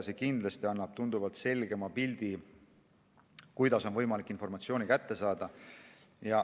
See annab tunduvalt selgema pildi, kuidas on võimalik informatsiooni kätte saada.